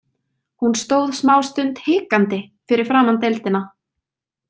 Hún stóð smástund hikandi fyrir framan deildina.